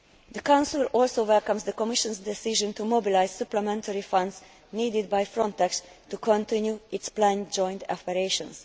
The Council also welcomes the Commission's decision to mobilise supplementary funds needed by Frontex to continue its planned joint operations.